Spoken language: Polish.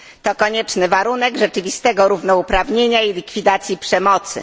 To konieczny warunek rzeczywistego równouprawnienia i likwidacji przemocy.